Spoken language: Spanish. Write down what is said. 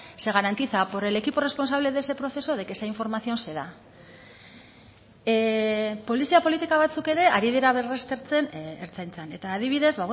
se garantiza por el equipo responsable de ese proceso de que esa información se da polizia politika batzuk ere ari dira berraztertzen ertzaintzan eta adibidez